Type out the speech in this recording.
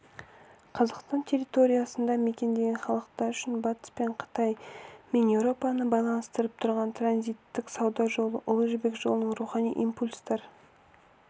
қазақстан территориясын мекендеген халықтар үшін батыс пен қытай мен еуропаны байланыстырып тұрған транзиттік сауда жолы ұлы жібек жолының рухани импульстар